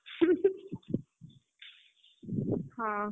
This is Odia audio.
ହୁଁ ହୁଁ, ହଁ,